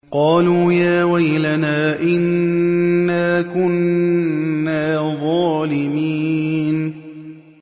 قَالُوا يَا وَيْلَنَا إِنَّا كُنَّا ظَالِمِينَ